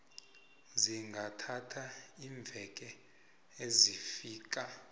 zingathatha iimveke ezifika